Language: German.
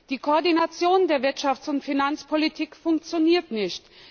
Die Koordination der Wirtschafts und Finanzpolitik funktioniert nicht.